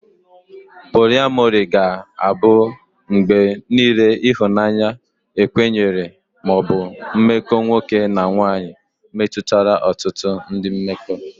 Poliamori ga-abụ mgbe niile ihunanya ekwenyere ma ọ bụ mmekọ nwoke na nwanyị metụtara ọtụtụ ndị mmekọ.